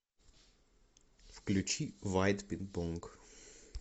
включи вайт пинг понг